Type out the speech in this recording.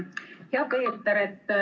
Hea Peeter!